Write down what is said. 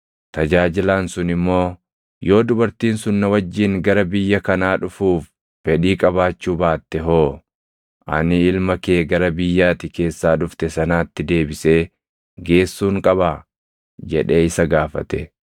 Tajaajilaan sun immoo, “Yoo dubartiin sun na wajjin gara biyya kanaa dhufuuf fedhii qabaachuu baatte hoo? Ani ilma kee gara biyya ati keessaa dhufte sanaatti deebisee geessuun qabaa?” jedhee isa gaafate.